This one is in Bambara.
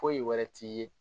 Foyi wɛrɛ t'i ye